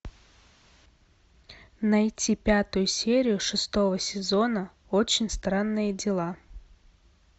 найти пятую серию шестого сезона очень странные дела